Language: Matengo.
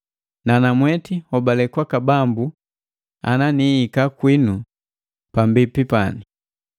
Nanamweti nhobale kwaka Bambu ana nihika kwinu pambipi pani.